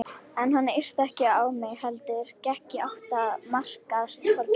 En hann yrti ekki á mig heldur gekk í átt að markaðstorginu.